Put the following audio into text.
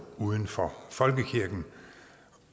uden for folkekirken